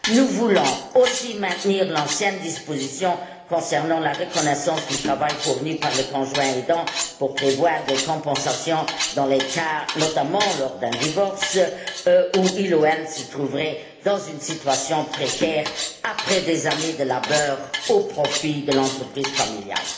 Nous voulons aussi maintenir l'ancienne disposition concernant la reconnaissance du travail fourni par le conjoint aidant pour prévoir des compensations, notamment lors d'un divorce, dans le cas où il ou elle se trouverait dans une situation précaire après des années de labeur au profit de l'entreprise familiale.